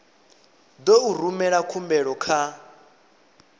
ḓo u rumela khumbelo kha